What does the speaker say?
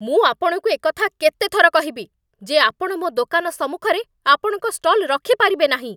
ମୁଁ ଆପଣଙ୍କୁ ଏକଥା କେତେ ଥର କହିବି, ଯେ ଆପଣ ମୋ ଦୋକାନ ସମ୍ମୁଖରେ ଆପଣଙ୍କ ଷ୍ଟଲ୍ ରଖିପାରିବେ ନାହିଁ?